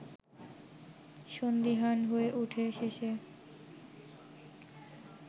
সন্দিহান হয়ে ওঠে শেষে